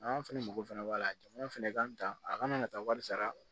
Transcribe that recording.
An fɛnɛ mago fɛnɛ b'a la jamana fɛnɛ kan a kana na taa wari sara